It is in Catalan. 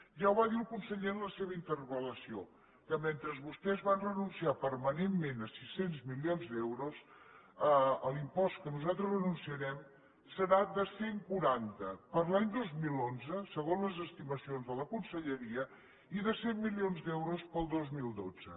ja va ho dir el conseller en la seva interpel·lació que mentre vostès van renunciar permanentment a sis cents milions d’euros l’impost a què nosaltres renunciarem serà de cent i quaranta per a l’any dos mil onze segons les estimacions de la conselleria i de cent milions d’euros per al dos mil dotze